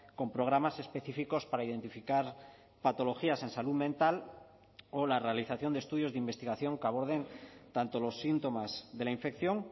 con programas específicos para identificar patologías en salud mental o la realización de estudios de investigación que aborden tanto los síntomas de la infección